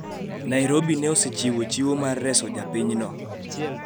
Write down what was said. Nairobi ne osechiwo chiwo mar reso japinyno